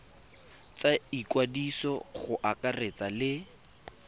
tsa ikwadiso go akaretsa le